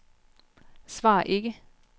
svar ikke